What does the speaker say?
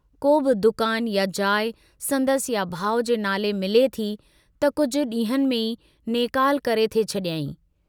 को बि दुकान या जाइ संदसि या भाउ जे नाले मिले थी, त कुझु डींहंनि में ई नेकाल करे थे छडियईं।